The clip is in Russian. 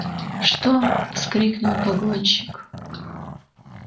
что вскрикнул погонщик